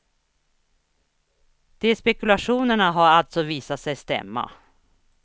De spekulationerna har alltså visat sig stämma.